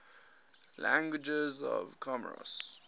languages of comoros